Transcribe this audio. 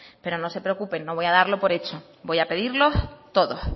pero no se preocupen no voy a darlo por hecho voy a pedirlos todos